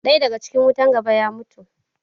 Ɗaya daga cikin wutan gaba ya mutu.